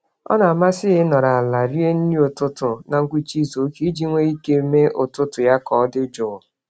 Ọna amasị ya ịnọrọ àlà rie nri ụtụtụ na ngwụcha izuka, iji nwe ike mee ụtụtụ ya k'ọdi jụụ